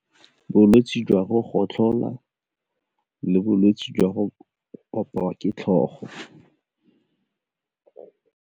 Bolwetse jwa go gotlhola le bolwetse jwa go opiwa ke tlhogo.